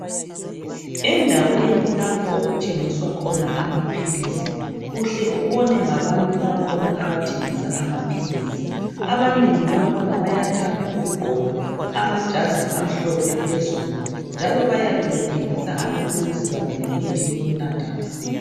Endaweni lapho okuthengiswa khona amaphilisi, uhle ubone ngabantu bakhona abathengisa amaphilisi. Abanengi bakhona bayathanda ukugqoka amajazi amhlophe phezulu njalo bayabe bethengisa amaphilisi kanye lemithi yokunatha.